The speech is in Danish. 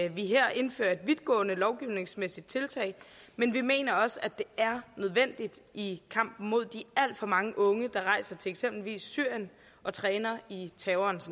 vi her indfører et vidtgående lovgivningsmæssigt tiltag men vi mener også det er nødvendigt i kampen mod de alt for mange unge der rejser til eksempelvis syrien og træner i terrorens